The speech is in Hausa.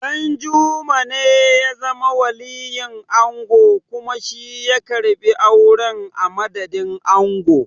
Ɗanjuma ne ya zama waliyin ango kuma shi ya karɓi auren a madadin ango.